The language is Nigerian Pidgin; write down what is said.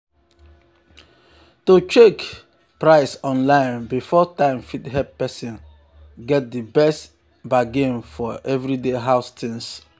to check to check price online before time fit help person get di best bargain for everyday house things.